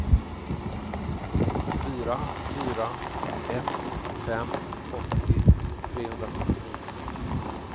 fyra fyra ett fem åttio trehundrasjuttionio